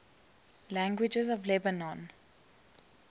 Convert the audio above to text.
languages of lebanon